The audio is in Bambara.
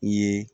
I ye